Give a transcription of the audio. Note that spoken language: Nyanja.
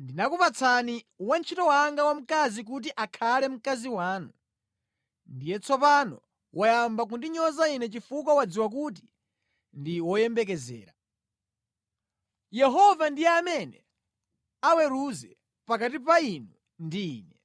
Ndinakupatsani wantchito wanga wamkazi kuti akhale mkazi wanu, ndiye tsopano wayamba kundinyoza ine chifukwa wadziwa kuti ndi woyembekezera. Yehova ndiye amene aweruze pakati pa inu ndi ine.”